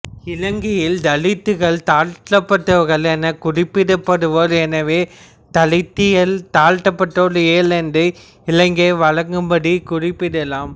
இலங்கையில் தலித்துக்கள் தாழ்த்தப்பட்டவர்கள் என குறிப்பிடப்படுவர் எனவே தலித்தியலை தாழ்த்தப்பட்டவர் இயல் என்று இலங்கை வழக்கப்படி குறிப்பிடலாம்